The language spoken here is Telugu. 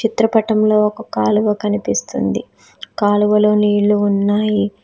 చిత్రపటంలో ఒక కాలువ కనిపిస్తుంది కాలువ లో నీళ్లు ఉన్నాయి.